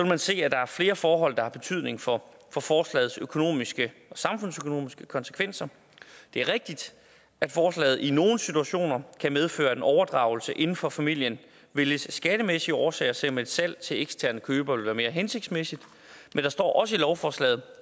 man se at der er flere forhold der har betydning for forslagets økonomiske og samfundsøkonomiske konsekvenser det er rigtigt at forslaget i nogle situationer kan medføre at en overdragelse inden for familien vælges af skattemæssige årsager selv om et salg til eksterne købere ville være mere hensigtsmæssigt men der står også i lovforslaget